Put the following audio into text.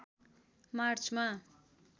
मार्चमा